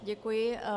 Děkuji.